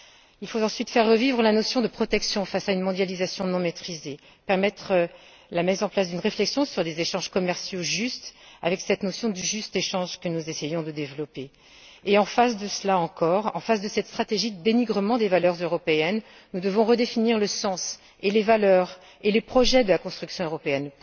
Il faut ensuite faire revivre la notion de protection face à une mondialisation non maîtrisée permettre la mise en place d'une réflexion sur des échanges commerciaux justes avec cette notion du juste échange que nous essayons de développer. Et, en face de cela encore, en face de cette stratégie de dénigrement des valeurs européennes, nous devons redéfinir le sens et les valeurs, ainsi que les projets de la construction européenne.